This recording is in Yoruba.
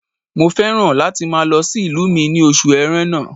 Mo fẹ́ràn láti máa lọ sí ìlú mi ní oṣù ẹrẹ́nà